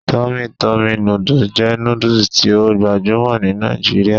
Tummy Tummy noodles jẹ nudus ti o gbajumo ni Nigeria